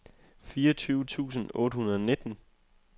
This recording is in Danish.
fireogtyve tusind otte hundrede og nitten